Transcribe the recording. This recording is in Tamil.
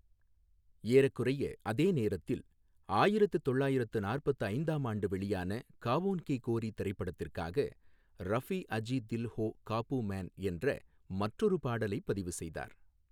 ஏறக்குறைய அதே நேரத்தில் ஆயிரத்து தொள்ளாயிரத்து நாற்பத்து ஐந்தாம் ஆண்டு வெளியான காவோன் கி கோரி திரைப்படத்திற்காக ரஃபி அஜி தில் ஹோ காபூ மேன் என்ற மற்றொரு பாடலைப் பதிவு செய்தார்.